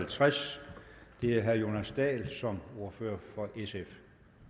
halvtreds og det er herre jonas dahl som ordfører for sf